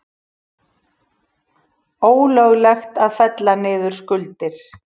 Ólöglegt að fella niður skuldir